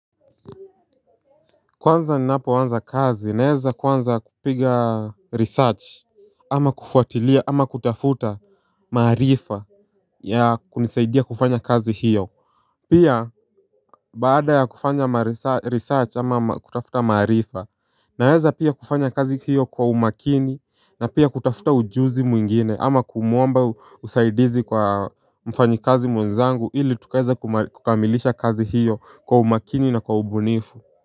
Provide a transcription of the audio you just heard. Kwanza ninapoanza kazi naeza kwanza kupiga research ama kufuatilia ama kutafuta maarifa ya kunisaidia kufanya kazi hiyo Pia baada ya kufanya research ama kutafuta maarifa Naeza pia kufanya kazi hiyo kwa umakini na pia kutafuta ujuzi mwingine ama kumuomba usaidizi kwa mfanyi kazi mwenzangu ili tukaeze kukamilisha kazi hiyo kwa umakini na kwa ubunifu.